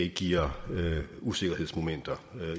giver usikkerhedsmomenter